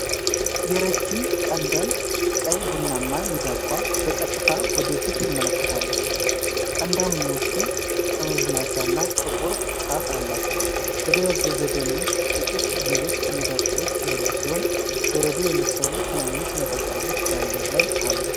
የረጅም ቀንዳም ቀይ ቡናማ ሚዳቋ በቀጥታ ወደ ፊት ትመለከታለች። ቀንዳሞቹ ጠመዝማዛና ጥቁር ጫፍ አላቸው። በደበዘዘ ደን ውስጥ ጥቂት ሌሎች ሚዳቆዎች ያሉ ሲሆን፣ በረዶ የመሰሉ ትናንሽ ነጠብጣቦች በአየር ላይ አሉ።